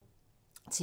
TV 2